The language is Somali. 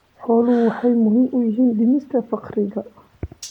Xooluhu waxay muhiim u yihiin dhimista faqriga.